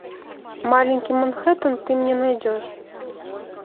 маленький манхэттен ты мне найдешь